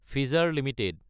Pfizer Ltd